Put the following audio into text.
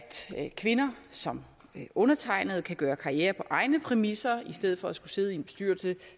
kvinder som undertegnede kan gøre karriere på egne præmisser i stedet for at skulle sidde i en bestyrelse